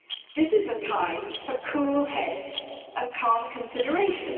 This is a time for cool heads and calm consideration.